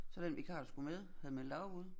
Så den vikar der skulle med havde meldt afbud